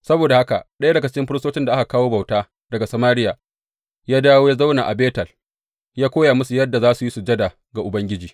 Saboda haka ɗaya daga cikin firistocin da aka kawo bauta daga Samariya ya dawo ya zauna a Betel, ya koya musu yadda za su yi sujada ga Ubangiji.